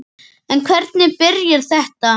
En hvernig byrjaði þetta?